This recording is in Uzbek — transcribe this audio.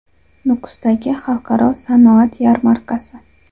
Nukusdagi Xalqaro sanoat yarmarkasi.